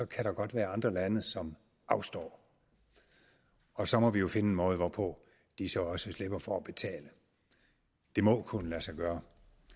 kan der godt være andre lande som afstår og så må vi jo finde en måde hvorpå disse også slipper for at betale det må kunne lade sig gøre